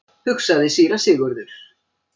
hugsaði síra Sigurður.